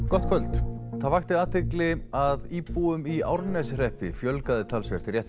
gott kvöld það vakti athygli að íbúum í Árneshreppi fjölgaði talsvert rétt